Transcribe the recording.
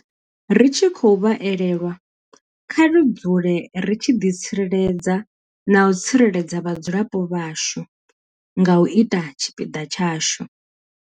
Ri tshi khou vha elelwa, kha ri dzule ri tshi ḓitsireledza na u tsireledza vhadzulapo vhashu nga u ita tshipiḓa tshashu.